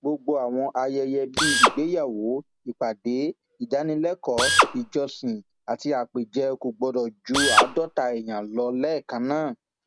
gbogbo àwọn ayẹyẹ bíi ìgbéyàwó ìpàdé ìdánilẹkọọ ìjọsìn àti àpèjẹ kò gbọdọ ju àádọta èèyàn lọ lẹẹkan náà